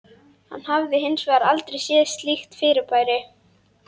Hann hafði hins vegar aldrei séð slíkt fyrirbæri.